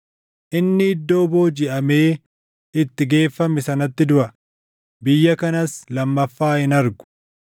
Inni iddoo boojiʼamee itti geeffame sanatti duʼa; biyya kanas lammaffaa hin argu.”